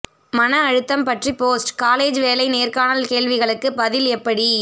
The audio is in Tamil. மன அழுத்தம் பற்றி போஸ்ட் காலேஜ் வேலை நேர்காணல் கேள்விகளுக்கு பதில் எப்படி